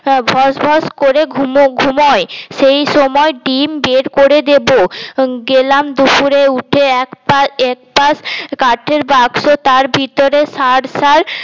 ভস ভস করে ঘু ঘুমোয় সেই সময় ডিম বের করে দেব গেলাম দুপুরে উঠে একপা একপা কাঠের বাক্স তার ভিতরে সরা সার